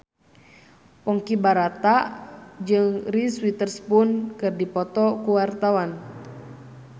Ponky Brata jeung Reese Witherspoon keur dipoto ku wartawan